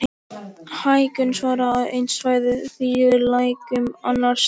Hækkun sjávar á einu svæði þýðir lækkun annars staðar.